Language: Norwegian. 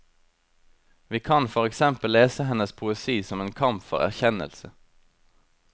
Vi kan for eksempel lese hennes poesi som en kamp for erkjennelse.